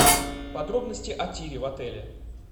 подробности о тире в отеле